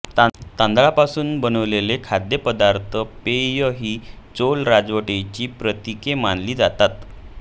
तांदळापासून बनविलेले खाद्यपदार्थ पेय ही चोला राजवटीची प्रतीके मानली जातात